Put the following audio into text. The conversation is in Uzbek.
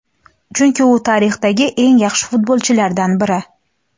chunki u tarixdagi eng yaxshi futbolchilardan biri.